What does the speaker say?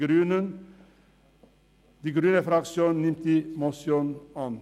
Die grüne Fraktion nimmt die Motion an.